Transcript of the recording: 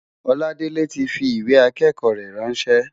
Oladele ti fi ìwé ìkẹ́kọ̀ọ́ rẹ̀ ráńṣẹ́.